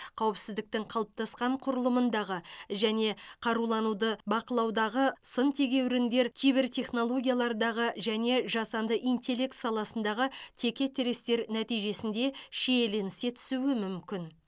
қауіпсіздіктің қалыптасқан құрылымындағы және қарулануды бақылаудағы сын тегеуріндер кибертехнологиялардағы және жасанды интеллект саласындағы текетірестер нәтижесінде шиеленісе түсуі мүмкін